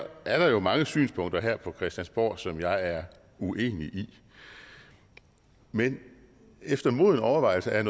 er der jo mange synspunkter her på christiansborg som jeg er uenig i men efter moden overvejelse er